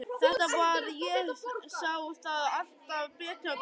Þetta var hann, ég sá það alltaf betur og betur.